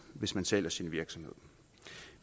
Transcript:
hvis man sælger sin virksomhed